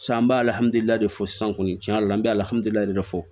an b'a de fɔ sisan kɔni tiɲɛ yɛrɛ la an bɛ alihamudulilahi de fɔ